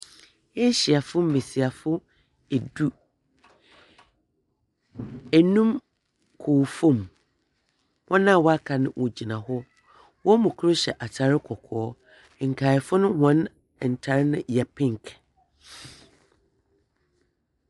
Ehyiafo mmesiafo edu. Enum kow fom, wɔn a waka no wɔgyina hɔ. Wɔmo krohyia atare kɔkɔɔ. Nkayɛfo wɔn ntare no yɛ penk.